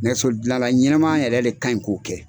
Nɛgɛso dilanla ɲɛnama yɛrɛ le kaɲi k'o kɛ.